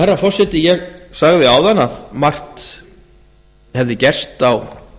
herra forseti ég sagði áðan að margt hefði gerst á